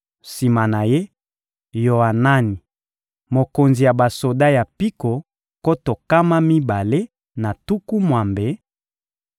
sima na ye, Yoanani: mokonzi ya basoda ya mpiko nkoto nkama mibale na tuku mwambe;